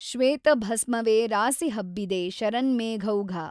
ಶ್ವೇತಭಸ್ಮವೆ ರಾಸಿಹಬ್ಬಿದೆ ಶರನ್ಮೇಘೌಘ